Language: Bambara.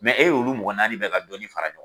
e y'olu mɔgɔ naani bɛɛ ka dɔɔni fara ɲɔgɔn